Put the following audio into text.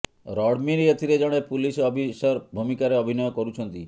ରଣବୀର ଏଥିରେ ଜଣେ police officer ଭୂମିକାରେ ଅଭିନୟ କରୁଛନ୍ତି